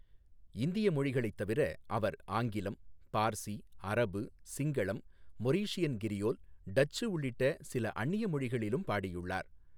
இந்திய மொழிகளைத் தவிர, அவர் ஆங்கிலம், பார்சி, அரபு, சிங்களம், மொரீஷியன் கிரியோல், டச்சு உள்ளிட்ட சில அந்நிய மொழிகளிலும் பாடியுள்ளார்.